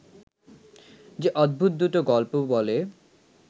সে অদ্ভুত দুটো গল্প বলে